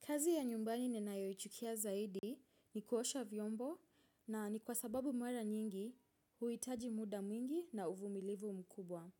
Kazi ya nyumbani ninayoichukia zaidi ni kuosha vyombo na ni kwa sababu mara nyingi huitaji muda mwingi na uvumilivu mkubwa.